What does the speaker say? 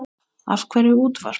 Af hverju útvarp?